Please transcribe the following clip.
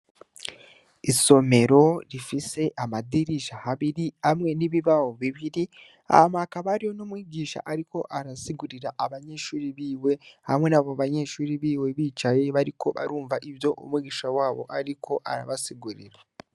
Isomero rifise amadirisha habiri, hamwe nibibaho bibiri, hama hakaba hariho numwigisha ariko arasigurira abanyeshure biwe, hamwe na bobanyeshure biwe bicaye bariko barumva ivyo Umwigisha wabo ariko arabasigurira.